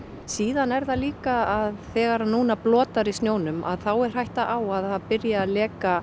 síðan er það líka að þegar að núna blotnar í snjónum að þá er hætta á að byrji að leka